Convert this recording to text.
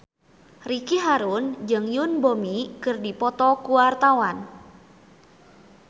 Ricky Harun jeung Yoon Bomi keur dipoto ku wartawan